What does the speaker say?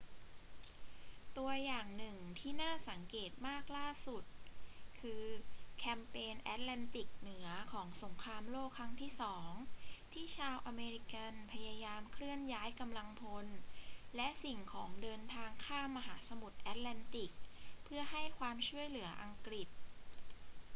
ตัวอย่างหนึ่งที่น่าสังเกตมากล่าสุด คือแคมเปญแอตแลนติกเหนือของสงครามโลกครั้งที่สอง ที่ชาวอเมริกันพยายามเคลื่อนย้ายกำลังพลและสิ่งของเดินทางข้ามมหาสมุทรแอตแลนติกเพื่อให้ความช่วยเหลืออังกฤษ